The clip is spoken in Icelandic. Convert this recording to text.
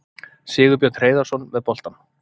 Sigurbjörn Hreiðarsson með boltann.